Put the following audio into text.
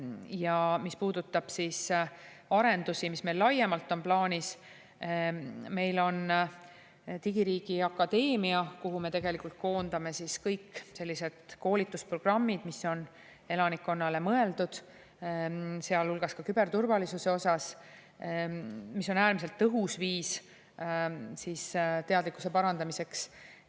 Ja mis puudutab arendusi, mis meil laiemalt plaanis on, meil on Digiriigi Akadeemia, kuhu me koondame kõik sellised koolitusprogrammid, mis on elanikkonnale mõeldud, sealhulgas küberturvalisuse osas, mis on äärmiselt tõhus viis teadlikkuse parandamiseks.